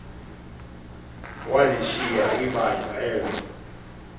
walishiya ibandla elo